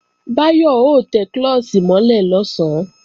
Báyọ̀ ó tẹ klọ́ọ̀ṣì mọ́ lẹ̀ lọ̀sán